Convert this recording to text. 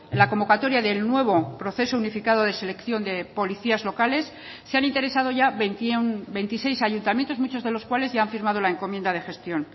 la convocatoria del nuevo proceso unificado de selección de policías locales se han interesado ya veintiséis ayuntamientos muchos de los cuales ya han firmado la encomienda de gestión